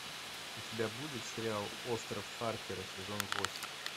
у тебя будет сериал остров харпера сезон восемь